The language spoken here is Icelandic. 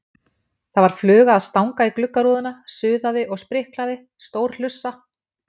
Það var fluga að stanga í gluggarúðuna, suðaði og spriklaði, stór hlussa.